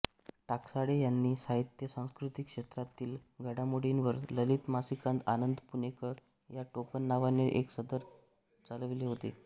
टाकसाळे यांनी साहित्यसांस्कृतिक क्षेत्रातील घडामोडींवर ललित मासिकात आनंद पुणेकर या टोपणनावाने एक सदर चालविले होते